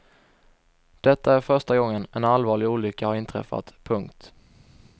Detta är första gången en allvarlig olycka har inträffat. punkt